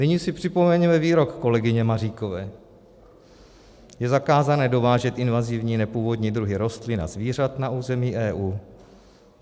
Nyní si připomeňme výrok kolegyně Maříkové: Je zakázané dovážet invazivní nepůvodní druhy rostlin a zvířat na území EU.